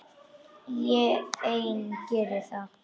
Ég ein geri það.